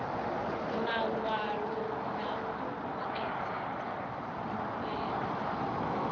mawalo na u vhuedzedza fhulufhelo